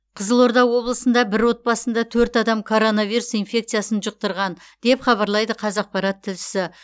қызылорда облысында бір отбасында төрт адам коронавирус инфекциясын жұқтырған деп хабарлайды қазақпарат тілшісі